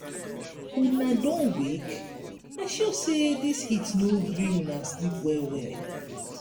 una done wake? i sure sey dis heat no gree una sleep well-well.